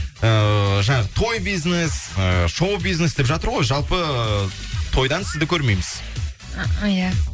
ыыы той бизнес ы шоу бизнес деп жатыр ғой жалпы тойдан сізді көрмейміз иә